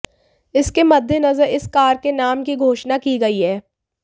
इसके मद्देनजर इस कार के नाम की घोषणा की गई है